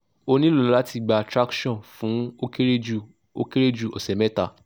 o nilo lati gba traction fun o kere ju o kere ju ose meta